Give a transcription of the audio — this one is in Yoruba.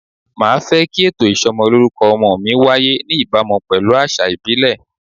Màá fẹ́ kí ètò ìsọmọlórúkọ ọmọ mi wáyé ní ìbámu pelu àṣà ìbílẹ̀.